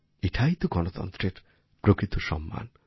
এটাই তো গণতন্ত্রের প্রকৃত সম্মান